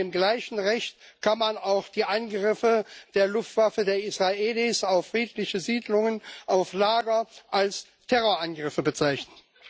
Mit dem gleichen Recht kann man auch die Angriffe der Luftwaffe der Israelis auf friedliche Siedlungen und Lager als Terrorangriffe bezeichnen.